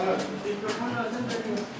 Götür hələ sənin.